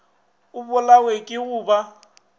a bolawe ke go ba